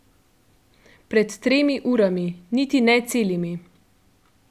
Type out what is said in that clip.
Pred tremi urami, niti ne celimi.